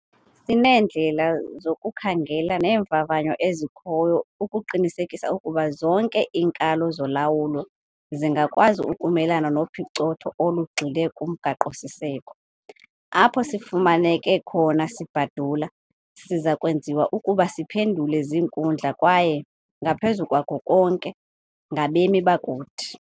Sineendlela zokukhangela novavanyo ezikhoyo ukuqinisekisa ukuba zonke iinkalo zolawulo zingakwazi ukumelana nopicotho olugxile kumgaqo-siseko. Apho sifumaneke khona sibhadula, siza kwenziwa ukuba siphendule zinkundla kwaye, ngaphezu kwako konke, ngabemi bakuthi.